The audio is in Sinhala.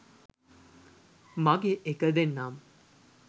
මගේ එක දෙන්නම්